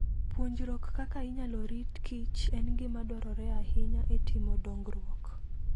Puonjruok kaka inyalo rit Kichen gima dwarore ahinya e timo dongruok.